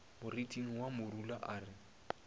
moriting wa morula a re